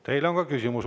Teile on ka küsimus.